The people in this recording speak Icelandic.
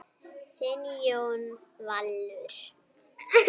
Þinn Jón Valur.